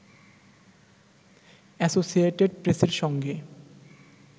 associated প্রেসের সঙ্গে